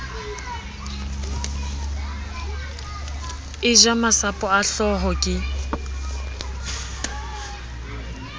eja masapo a hlooho ke